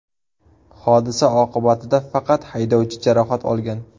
Hodisa oqibatida faqat haydovchi jarohat olgan.